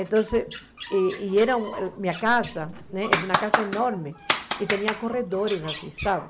Então, e era minha casa, né era uma casa enorme, e tinha corredores assim, sabe?